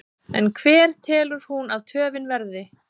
En hver telur hún að töfin verði?